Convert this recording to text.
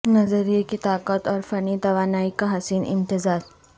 نظریے کی طاقت اور فنی توانائی کا حسین امتزاج